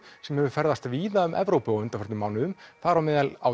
sem hefur ferðast víða um Evrópu á undanförnum mánuðum þar á meðal á